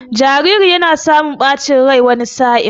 Jariri yana samun ɓacin rai wani sa'in.